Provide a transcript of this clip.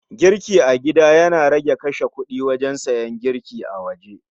Girki a gida Yana rage kashe kudi wajen siyan abinci a waje